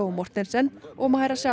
Mortensen og